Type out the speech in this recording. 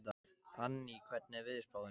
Anný, hvernig er veðurspáin?